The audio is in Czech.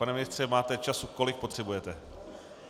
Pan ministře, máte času, kolik potřebujete.